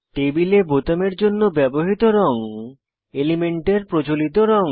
টেবিলে বোতামের জন্য ব্যবহৃত রঙ এলিমেন্টের প্রচলিত রঙ